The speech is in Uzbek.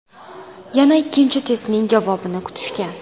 Yana ikkinchi testning javobini kutishgan.